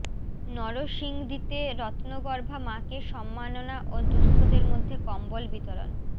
নরসিংদীতে রত্নগর্ভা মাকে সম্মাননা ও দুস্থদের মধ্যে কম্বল বিতরণ